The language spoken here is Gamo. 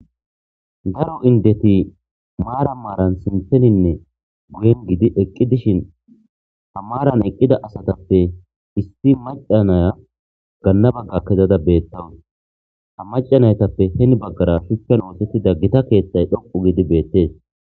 daro indeti maara maaran simtheninne guyen gidi eqqi dishin ha maaran eqqida asatappe issi macanaya ganna bagga kezada beettawun ha macanaytappe heni baggara shuccan ootettida gita keeththay dhoqu gidi beettees